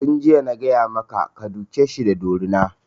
Tun jiya na gaya maka ka duke shi da dorina!